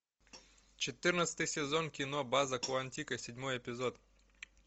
четырнадцатый сезон кино база куантико седьмой эпизод